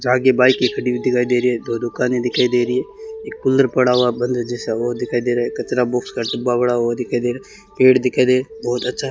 यहां की बाईकें खड़ी हुई दिखाई दे रही है दो दुकानें दिखाई दे रही है एक कूलर पड़ा हुआ बंद जैसा वो दिखाई दे रहा है कचरा बॉक्स का डब्बा पड़ा वो दिखाई दे रहा पेड़ दिखाई दे बहुत अच्छा --